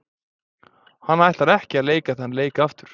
Hann ætlar ekki að leika þann leik aftur.